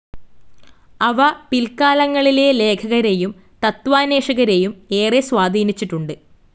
അവ പിൽക്കാലങ്ങളിലെ ലേഖകരെയും തത്വാന്വേഷകരെയും ഏറെ സ്വാധീനിച്ചിട്ടുണ്ട്.